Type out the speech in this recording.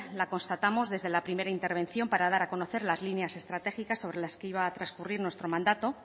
la constatamos desde la primera intervención para dar a conocer las líneas estratégicas sobre las que iba a transcurrir nuestro mandato